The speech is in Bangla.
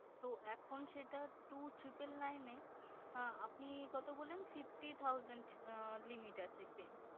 তো এখন সেটা two triple nine এ আপনি কত বললেন fifty thousands limit আছে claim